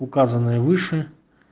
указанные выше